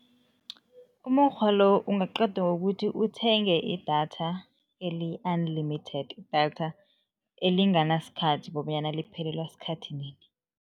Umukghwa lo ungaqedwa kukuthi uthenge idatha eliyi-unlimited, idatha elinganasikhathi kobanyana liphelelwa sikhathi nini.